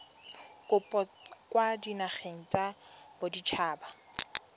kopo kwa dinageng tsa baditshaba